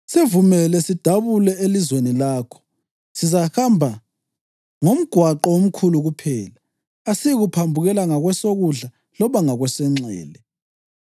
‘Sivumele sidabule elizweni lakho. Sizahamba ngomgwaqo omkhulu kuphela, asiyikuphambukela ngakwesokudla loba ngakwesokunxele.